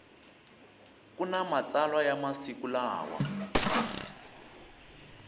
kuna matsalwa ya masiku lawa